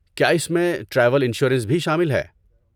کیا اس میں ٹریول انشورنس بھی شامل ہے؟